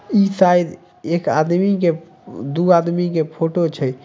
इ शायद एक आदमी के दू आदमी के फोटो छै।